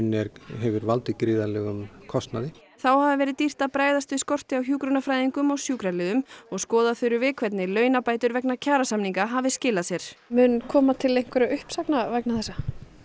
hefur valdið gríðarlegum kostnaði þá hafi verið dýrt að bregðast við skorti á hjúkrunarfræðingum og sjúkraliðum og skoða þurfi hvernig launabætur vegna kjarasamninga hafi skilað sér mun koma til einhverra uppsagna vegna þessa